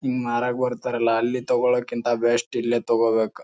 ಹಿಂಗ್ ಮಾರಾಕ್ ಬರ್ತಾರಲ್ಲ ಅಲ್ಲಿ ತಗೋಳಕ್ಕಿಂತ ಬೆಸ್ಟ್ ಇಲ್ಲೇ ತಗೋಬೇಕ.